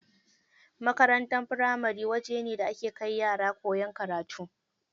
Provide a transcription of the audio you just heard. Makarantar firamari wajene da ake kai yara koyan karatu.